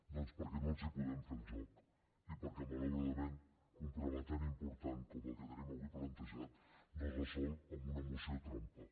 doncs perquè no els volem fer el joc i perquè malauradament un problema tan important com el que tenim avui plantejat no es resol amb una moció trampa